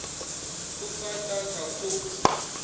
ku nga ta ka ku